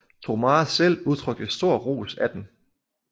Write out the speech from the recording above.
Drumare selv udtrykte stor ros af den